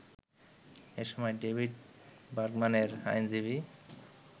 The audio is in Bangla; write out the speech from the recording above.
এসময় ডেভিড বার্গম্যানের আইনজীবী